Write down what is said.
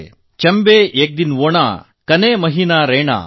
ಚಂಬೇ ಏಕ್ ದಿನ್ ಓನಾ ಕಾನೇ ಮಹೀನಾ ರೈನಾ